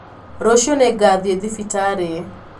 Rũcio nĩngathiĩthibitarĩ.